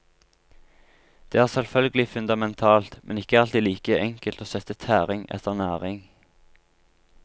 Det er selvfølgelig fundamentalt, men ikke alltid like enkelt å sette tæring etter næring.